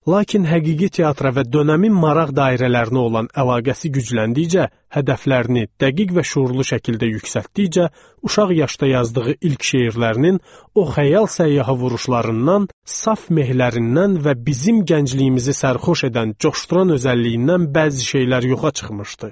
Lakin həqiqi teatra və dövrün maraq dairələrinə olan əlaqəsi gücləndikcə, hədəflərini dəqiq və şüurlu şəkildə yüksəltdikcə, uşaq yaşda yazdığı ilk şeirlərinin o xəyal səyyahı vuruşlarından, saf mehlərindən və bizim gəncliyimizi sərxoş edən, coşduran özəlliyindən bəzi şeylər yoxa çıxmışdı.